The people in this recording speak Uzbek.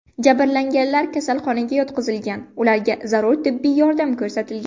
Jabrlanganlar kasalxonaga yotqizilgan, ularga zarur tibbiy yordam ko‘rsatilgan.